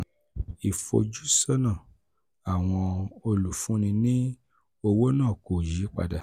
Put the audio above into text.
ìfojúsọ́nà àwọn olùfúnni ní owó náà kò yí padà.